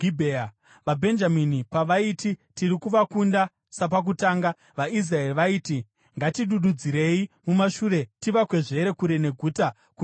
VaBhenjamini pavaiti, “Tiri kuvakunda sapakutanga,” vaIsraeri vaiti, “Ngatidududzirei mumashure tivakwezvere kure neguta kumigwagwa.”